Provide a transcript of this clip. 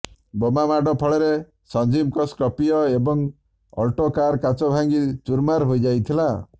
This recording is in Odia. ବୋମା ମାଡ଼ ଫଳରେ ସଞ୍ଜୀବଙ୍କ ସ୍କର୍ପିଓ ଏବଂ ଅଲ୍ଟୋ କାର୍ର କାଚ ଭାଙ୍ଗି ଚୂରମାର୍ ହୋଇଯାଇଥିଲା